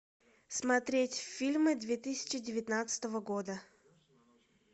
смотреть фильмы две тысячи девятнадцатого года